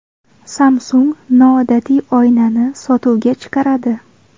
Samsung noodatiy oynani sotuvga chiqaradi .